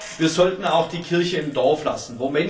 Aber wir sollten auch die Kirche im Dorf lassen.